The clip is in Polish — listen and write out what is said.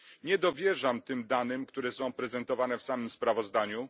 Nie dowierzam tym danym, które są prezentowane w samym sprawozdaniu.